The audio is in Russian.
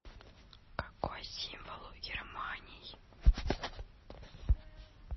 какой символ у германий